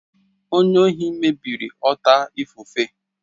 Onye ohi mebiri ọta ifufe.